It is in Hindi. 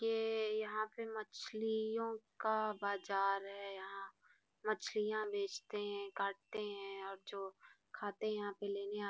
येएए यहाँ पे मछलियों का बाज़ार है यहाँ मछलियाँ बेचते है काटते है और जो खाते है यहाँ पे लेने आ --